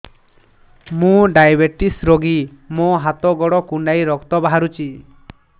ମୁ ଡାଏବେଟିସ ରୋଗୀ ମୋର ହାତ ଗୋଡ଼ କୁଣ୍ଡାଇ ରକ୍ତ ବାହାରୁଚି